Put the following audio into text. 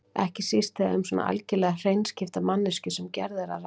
Ekki síst þegar um svo algerlega hreinskiptna manneskju sem Gerði er að ræða.